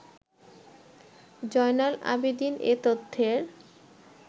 জয়নাল আবেদীন এ তথ্যের